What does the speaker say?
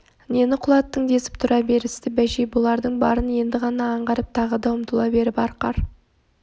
нені құлаттың десіп тұра берісті бәшей бұлардың барын енді ғана аңғарып тағы да ұмтыла беріп арқар